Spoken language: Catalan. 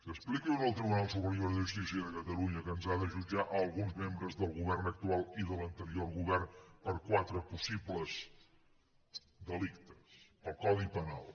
expliqui ho al tribunal superior de justícia de catalunya que ens ha de jutjar a alguns membres del govern actual i de l’anterior govern per quatre possibles delictes pel codi penal